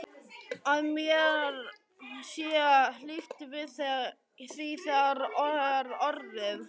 Að mér sé hlíft við því sem þegar er orðið.